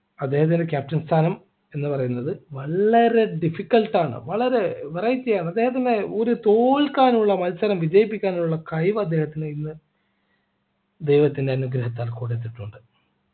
അദ്ദേഹത്തിൻ്റെ captain സ്ഥാനം എന്ന് പറയുന്നത് വളരെ difficult ആണ് വളരെ verity ആണ് അദ്ദേഹത്തിന് ഒരു തോൽക്കാനുള്ള മത്സരം വിജയിപ്പിക്കാനുള്ള കഴിവ് അദ്ദേഹത്തിന് ഇന്ന് ദൈവത്തിൻ്റെ അനുഗ്രഹത്താൽ കൊടുത്തിട്ടുണ്ട്